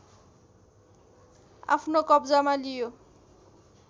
आफ्नो कब्जामा लियो